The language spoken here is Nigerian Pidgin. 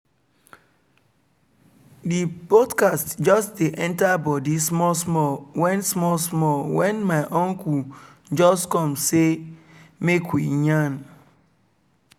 the podcast just dey enter body small small when small small when my uncle just come say make we yarn